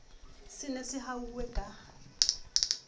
se ne se ahuwe ka